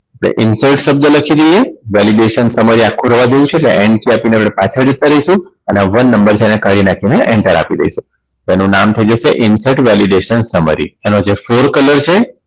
તો Insert શબ્દ લખી લઈએ Validation Summary આખું રવા દઈશું એટલે N key આપીને આપણે પાછા જતા રહેશું અને આ one નંબર છે એને કાઢી નાખી ને enter આપી દઈશું તો એનું નામ થઈ જશે Insert Validation Summary એનો જે સુર કલર છે